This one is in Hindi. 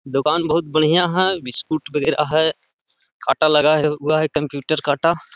दुकान बहोत बढ़िया है बिस्कुट वगैरा है। काटा लगा हुआ है कंप्यूटर काटा।